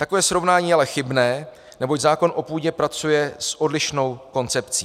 Takové srovnání je ale chybné, neboť zákon o půdě pracuje s odlišnou koncepcí.